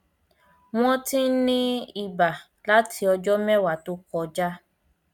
wọn ti ń ní iba láti ọjọ mẹwàá tó kọjá